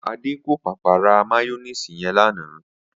Adé kò pàpà ra máyó̩néèsì ye̩n lánàá